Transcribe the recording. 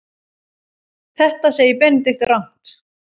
Þetta segir Benedikt rangt.